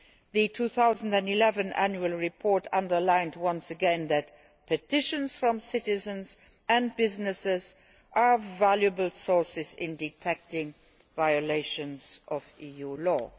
The 2011 Annual Report underlined once again that petitions from citizens and businesses are valuable sources in detecting violations of EU law.